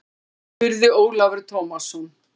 spurði Ólafur Tómasson.